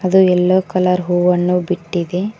ಅದು yellow colour ಹೂವನ್ನು ಬಿಟ್ಟಿದೆ.